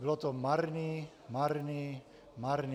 Bylo to marný, marný, marný.